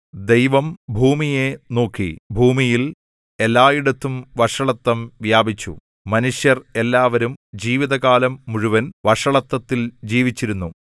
ദൈവം ഭൂമിയെ നോക്കി ഭൂമിയിൽ എല്ലായിടത്തും വഷളത്തം വ്യാപിച്ചു മനുഷ്യർ എല്ലാവരും ജീവിതകാലം മുഴുവൻ വഷളത്തത്തിൽ ജീവിച്ചിരുന്നു